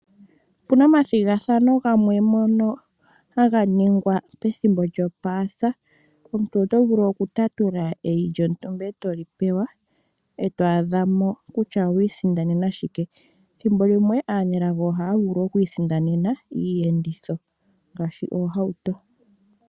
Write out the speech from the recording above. Opuna omathigathano ngono haga ningwa pethimbo lyopaasa. Omuntu oto vulu oku tatula eyi lyontumba eto li pewa, eto adhamo kutya owa isindanena shike. Thimbolimwe, aanelago ohaya vulu oku isindanena iiyenditho ngaashi oohauto.